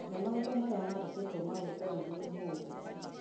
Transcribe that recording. ne maũndũ marĩa mandĩkĩtwo ma gwĩkwo nĩniĩ ũmũthĩ